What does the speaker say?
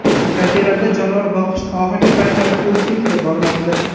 Kafelarda jonivor boqish oxirgi paytlarda urfga kirib bormoqda.